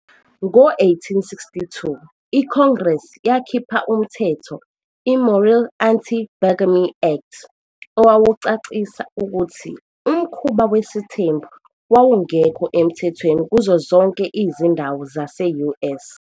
Ngo-1862, iCongress yakhipha umthetho iMorrill Anti-Bigamy Act owawucacisa ukuthi umkhuba wesithembu wawungekho emthethweni kuzo zonke izindawo zase-US.